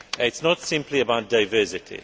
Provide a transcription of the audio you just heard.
Union. It is not simply about diversity.